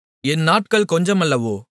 என் நாட்கள் கொஞ்சமல்லவோ